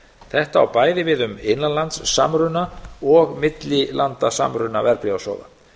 þetta á bæði við um innanlandssamruna og millilandasamruna verðbréfasjóða